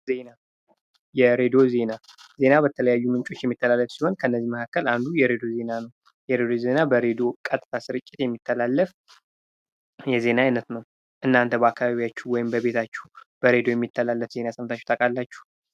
ዜና የሬድዎ ዜና፦ ዜና በተለያዩ ምንጮች የሚተላለፍ ሲሆን ከእነዚህም መካከል አንዱ የሬዲዮ ዜና ነው የሬዲዮ ዜና በሬድዮ ቀጥታ የሚተላለፍ የዜና አይነት ነው እናንተ በአካባቢያችሁ በሬዶዮ የሚተላለፍ ዜና ሰምታችሁ ታውቃላችሁ?